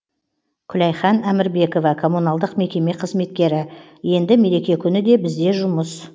күләйхан әмірбекова коммуналдық мекеме қызметкері енді мереке күні де бізде жұмыс